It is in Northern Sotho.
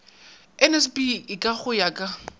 nsb eka go ya ka